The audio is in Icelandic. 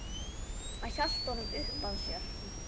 Hann hélt honum uppað sér.